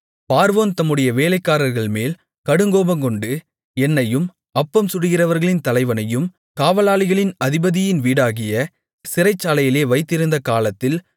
பார்வோன் தம்முடைய வேலைக்காரர்கள்மேல் கடுங்கோபங்கொண்டு என்னையும் அப்பம் சுடுகிறவர்களின் தலைவனையும் காவலாளிகளின் அதிபதியின் வீடாகிய சிறைச்சாலையிலே வைத்திருந்த காலத்தில்